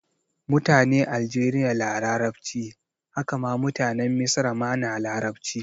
Mutane aljeriya na larabci, haka ma mutanen misra ma na larabci